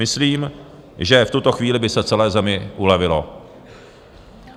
Myslím, že v tuto chvíli by se celé zemi ulevilo.